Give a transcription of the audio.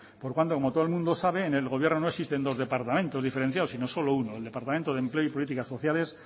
por tanto como todo el mundo sabe en el gobierno no existen dos departamentos diferenciados sino solo uno el departamento de empleo y políticas sociales